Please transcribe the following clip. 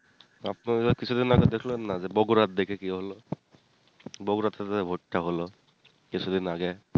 আপনার কিছুদিন আগে দেখলেন না বগুরার দিকে কি হলো বগুরা তে টো ভোট টা হোলো কিছুদিন আগে